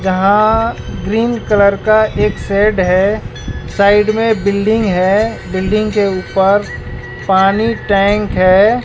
जहां green colour का एक शेड है साइड में बिल्डिंग है बिल्डिंग के ऊपर पानी टैंक है।